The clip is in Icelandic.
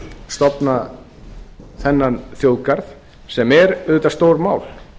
stofna þennan þjóðgarð sem er auðvitað stórmál